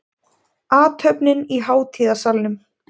Athöfnin í hátíðasalnum